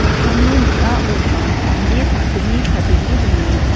dokanni ning·aoba mande sakgni chadenge dongenga.